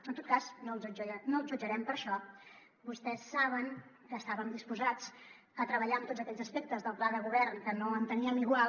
en tot cas no els jutjarem per això vostès saben que estàvem disposats a treballar en tots aquells aspectes del pla de govern que no enteníem igual